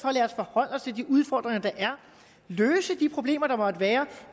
forholde os til de udfordringer der er løse de problemer der måtte være